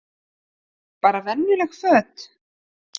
Bara venjuleg föt?